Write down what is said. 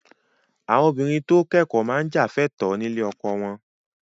Àwọn obìnrin tó kẹ́kọ̀ọ́ máa jà fẹ́tọ̀ọ́ nílé ọkọ wọn